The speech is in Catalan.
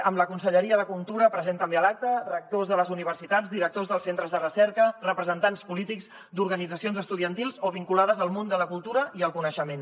amb la conselleria de cultura present també a l’acte rectors de les universitats directors dels centres de recerca representants polítics d’organitzacions estudiantils o vinculades al món de la cultura i el coneixement